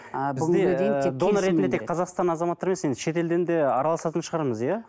донор ретінде тек қазақстан азаматтары емес енді шетелден де араластын шығармыз иә